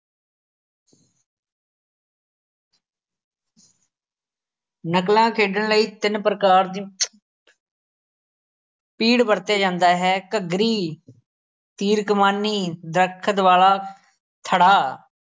ਨਕਲਾਂ ਖੇਡਣ ਲਈ ਤਿੰਨ ਪ੍ਰਕਾਰ ਦੀ ਤੀੜ ਵਰਤੇ ਜਾਂਦਾ ਹੈ ਘੱਗਰੀ ਤੀਰ ਕਮਾਨੀ ਦਰੱਖਤ-ਵਾਲਾ ਥੜ੍ਹਾ